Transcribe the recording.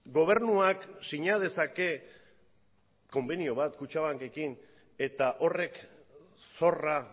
gobernuak sina dezake konbenio bat kutxabankekin eta horrek zorra